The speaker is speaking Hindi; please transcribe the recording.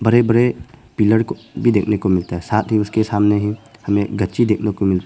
बड़े बड़े पिलर को भी देखने को मिलता है साथ ही उसके सामने ही हमें गच्ची देखने को मिलता--